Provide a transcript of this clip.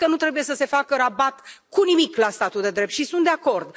Ați spus că nu trebuie să se facă rabat cu nimic la statul de drept și sunt de acord.